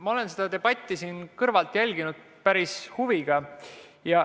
Ma olen seda debatti siit kõrvalt jälginud päris huviga.